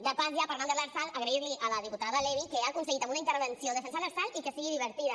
de pas ja parlant de l’lrsal agrair li a la diputada levy que hagi aconseguit en una intervenció defensar l’lrsal i que sigui divertida